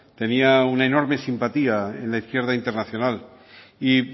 tenía una enorme simpatía en la izquierda internacional y